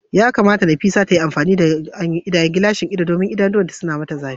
yakamata Nafisat ta yi amfani da gilashin ido domin idanuwanta suna mata zafi.